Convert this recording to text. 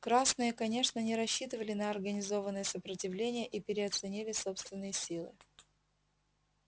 красные конечно не рассчитывали на организованное сопротивление и переоценили собственные силы